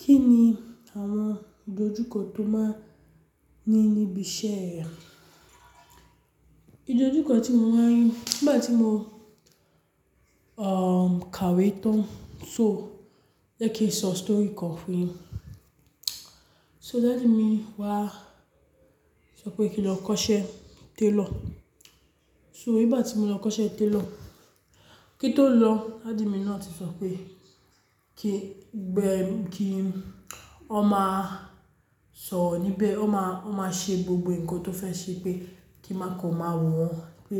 Kí ni àwọn ìdojúkọ tó máa ní níbi iṣẹ́ rẹ? Ìdojúkọ tí mo wá rí nígbà tí mo, um, kàwé tán. So, jẹ́ kí n sọ story kan fún yín. So daddy mi wá sọ pé kí n lọ kọ́ṣẹ́ tailor. So nígbà tí mo lọ kọ́ṣẹ́ tailor, kí n tó lọ, daddy mi náà ti sọ pé kí gbẹ́ mi kí ó máa sọ níbẹ̀, ó máa, ó máa ṣe gbogbo ǹkan tó fẹ́ ṣe pé kí n máa kọ̀ ọ́ máa wò wọ́n pé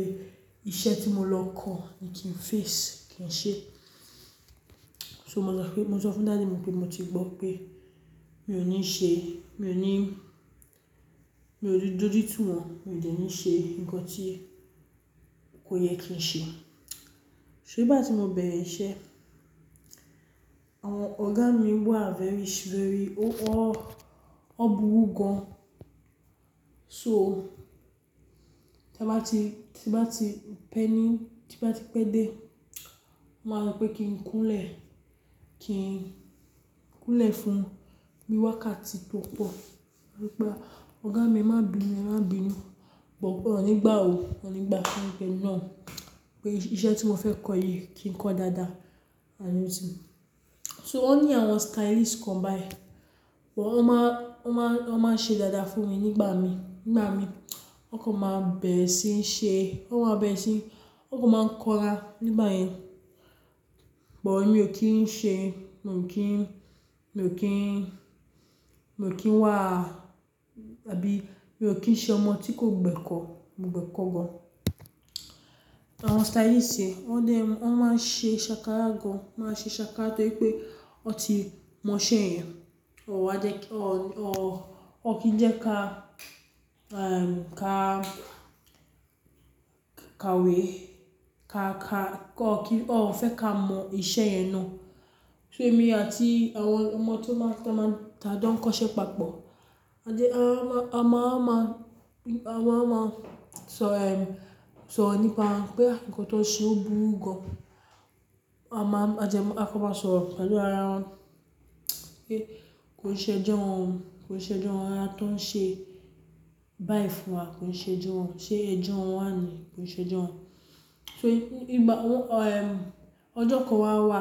iṣẹ́ tí mo lọ kọ́ ni kí n face, kí n ṣe. So mo sọ pé, mo sọ fún daddy mi pé mo ti gbọ́ pé mi ò ní ṣe, mi ò ní, mi ò ní dojú tí wọ́n, mi ò dẹ́ ní ṣe ǹkan tí kò yẹ kí n ṣe. So nígbà tí mo bẹ̀rẹ̀ iṣẹ́, àwọn ọ̀gá mi wà very, very, o, o, ọ́ burú gan. So tí a bá ti, tí bá ti pẹ́ ní, tí bá ti pẹ́ dé, máa sọ pé kí n kúnlẹ̀, kí n kúnlẹ̀ fún bi wákàtí tó pọ̀. Máa sọ pé ọ̀gá mi ẹmá bínú, ẹmá bínú. Ṣùgbọ́n wọn ó nígbà o, wọn ó nígbà fún mi pé náà, pé iṣẹ́ tí mo fẹ́ kọ́ yìí kí n kọ́ dáadáa. And you see. So ó ní àwọn stylist kan báyìí, wọ́n máa, wọ́n máa, wọ́n máa ń ṣe dáadáa fún mi nígbà mi. Nígbà mi, wọ́n kò máa ń bẹ̀rẹ̀ sí ń ṣe, wọ́n máa ń bẹ̀rẹ̀ sí, wọ́n kò máa ń konra nígbà yẹn. But emi ó kí ń ṣe, mo ní kí n, mo ní kí n wá àbí mo ní kí n ṣe ọmọ tí kò gbẹ́kọ̀, mo gbẹ́kọ̀ gan. Àwọn stylist yìí, wọ́n dẹ́, wọ́n máa ń ṣe sákárà gan. Wọ́n máa ń ṣe sákárà torí pé wọ́n ti mọ iṣẹ́ yẹn. Hun wá jẹ́ kí, ó, ó, hun kí ń jẹ́ ká, um, ká, kàwé, ká, ká, kó kí, ó n fẹ́ ká mọ iṣẹ́ yẹn náà. Èmi àti àwọn ọmọ tó máa ń tà jo ń kọ́ṣẹ́ papọ̀, a jẹ́ a máa, a máa máa, a máa máa sọ, sọ ro nípa pé ǹkan tó ń ṣe ó burú gan. A máa, a jẹ́ máa, a ka n máa sọ ro pẹ̀lú ara wa pé kò ṣe ẹjọ́ wọn, kò ṣe ẹjọ́ ara wọn tí wọ́n ń ṣe báyìí fún wa, kò ṣe ẹjọ́ wọn. Ṣé ẹjọ́ wọn wà ni? Kò ṣe ẹjọ́ wọn. So nígbà wọ́n, ọjọ́ kan wà wà,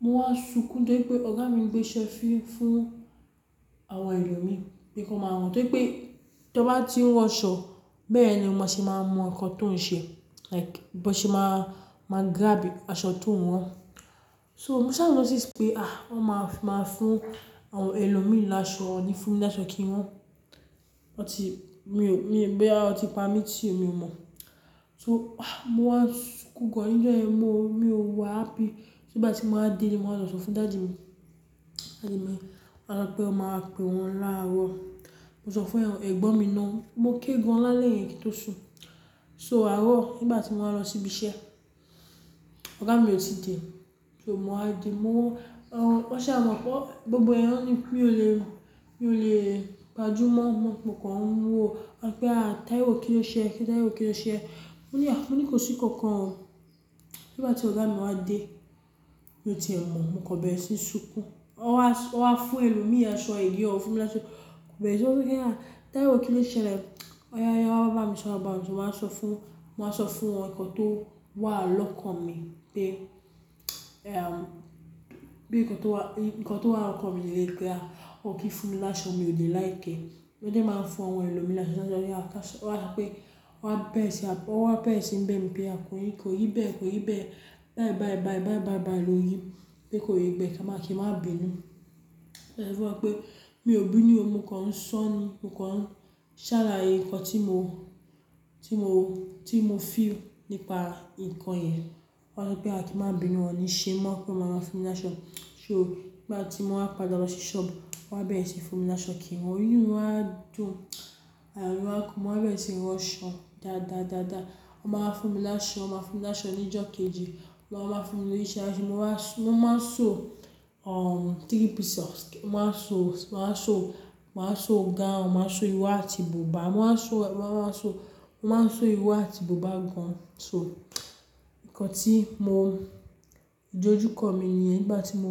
mo wá ń sunkún torí pé ọ̀gá mi gbé iṣẹ́ fún, fún àwọn ẹlòmíràn pé kí wọ́n máa rán torí pé tí ọ bá ti ń rán aṣọ, bẹ́ẹ̀ ni ọmọ ṣe máa mọ ǹkan tó ń ṣe. Laiki bí wọ́n ṣe máa, máa girabu aṣọ tó ń rán. So mo saa notice pé, wọ́n máa, máa fún àwọn ẹlòmíràn láṣọ, wọ́n ní fún mi láṣọ kí n rán. Wọ́n ti, mi ò, mi bo ya wọ́n ti pa mí tó mi ò mọ̀. So ah, mo wá ń sunkún gan níjọ yẹn, mo, mi ò wà happy. Nígbà tí mo wá dé ilé, mo máa lọ sọ fún daddy mi. Daddy mi wáa sọ pé ó máa pe wọ́n láàárọ̀. Mo sọ fún ẹ, ẹ̀gbọ́n mi náà, mo ké gan láàlẹ́ yẹn kí n tó sùn. So àárọ̀ nígbà tí mo wá lọ síbi iṣẹ́, ọ̀gá mi ò tí dẹ̀. So mo wá di, mo, um, wọ́n sì máa mọ̀ pé gbogbo ẹ̀yán ní mi ò le, mi ò le gbajúmọ̀, mo kàn ń wò ó. A pé à, Taiwo kí ló ṣe ẹ́? Kí Taiwo kí ló ṣe ẹ́? Mo ní à, mo ní kò sí kankan o. Nígbà tí ọ̀gá mi wá dé, mo ti ẹ̀ mọ̀, mo kan bẹ̀rẹ̀ sí ń sunkún. Wọ́n wá fún ẹlòmíràn aṣọ agani wọ́n ó fún mi láṣọ. Kò bẹ́ẹ̀ rí, ó wí pé à Taiwo kí ló ṣe ẹ́ le? Ọ̀ya, ọ̀ya wá bá mi sọ̀rọ̀ bá mi so, mo wá sọ fún, mo wá sọ fún wọn ǹkan tó wà lọ́kàn mi pé, bí ǹkan tó wà, ǹkan tó wà lọ́kàn mi ni lélẹ pé wọ́n kí ń fún mi láṣọ, mi ò de like ẹ́. Wọ́n dẹ́ máa ń fún àwọn ẹlòmíràn láṣọ. Ó wá sọ pé ó wá bẹ̀rẹ̀ sí, ó wá bẹ̀rẹ̀ sí ń bẹ ì mi pé a kò rí bẹ́, kò rí bẹ́ẹ̀, kò rí bẹ́ẹ̀. Bai, bai, bai, bai, bai bai ló rí pé kò rí bẹ́ wọ́n wá ní kí n má bínú. Wọ́n dẹ́ sọ fún wọn pé mi ò bínú o, mo kàn ń sọ ni, mo kàn ń ṣàlàyé ǹkan tí mo, tí mo, tí mo feel nípa ǹkan yẹn. Wọ́n wá sọ pé a kì í má bínú, wọ́n ní ṣe mọ́, pé wọ́n máa fún mi láṣọ. So nígbà tí mo wá padà lọ sí shop, wọ́n bẹ̀rẹ̀ sí ń fún mi láṣọ kí n rán. Inú mi wá dùn, ayọ̀ mi wá kún, mo wá bẹ̀rẹ̀ sí ń rán aṣọ dáadáa, dáadáa. Wọ́n máa ń fún mi láṣọ, wọ́n máa ń fún mi láṣọ ní ìjọ́ kejì. Wọ́n máa ń fún mi ní iṣẹ́ áṣọ, mo wá sọ, mo máa ń ṣọ, three pieces. Mo máa ń ṣọ, mo máa ń ṣọ, mo máa ń ṣọ gown, mo máa ń ṣọ ìro àti bùbá. Mo máa ń ṣọ, mo máa ń ṣọ, mo máa ń ṣọ ìro àti bùbá gan. So ǹkan tí mo, ìdojúkọ mi nìyẹn nígbà tí mo.